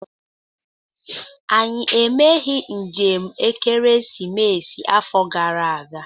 Anyị emeghị njem ekeresimesi afọ gara aga.